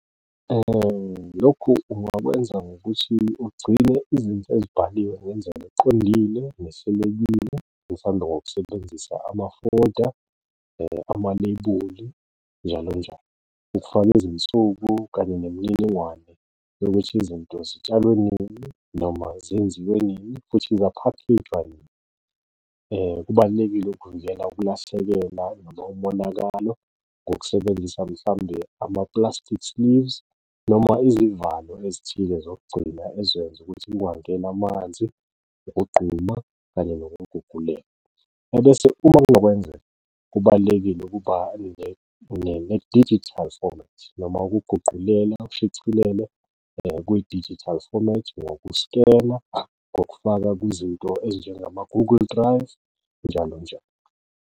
Lokhu ungakwenza ngokuthi ugcine izinto ezibhaliwe ngendlela eqondile nehlelekile mhlambe ngokusebenzisa, , amaleyibuli njalo njalo lwezinsuku kanye nemininingwane yokuthi izinto zitshalwe nini noma zenziwe nini, futhi zaphakhejwa nini. Kubalulekile ukulahlekela noma umonakalo ngokusebenzisa mhlawumbe ama-plastics noma izivalo ezithile zokugcina ezoyenza ukuthi kungangeni amanzi, ukugquma kanye nokuguguguleka. Ebese uma kunokwenzeka kubalulekile ukuba ne-digital format noma ukuguqulela, ushicilele kwidijithali fomethi ngoku-scanner, ngokufaka kwizinto ezinjengama-Google Drive njalo njalo.